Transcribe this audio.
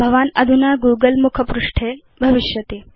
भवान् अधुना गूगल मुखपृष्ठे भविष्यति